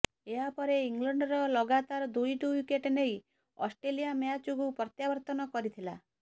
ଏହା ପରେ ଇଂଲଣ୍ଡର ଲଗାତାର ଦୁଇଟି ୱିକେଟ୍ ନେଇ ଅଷ୍ଟ୍ରେଲିଆ ମ୍ୟାଚକୁ ପ୍ରତ୍ୟାବର୍ତ୍ତନ କରିଥିଲା